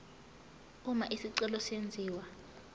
uma isicelo senziwa